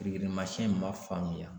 Kirikirimasɛn in ma faamuya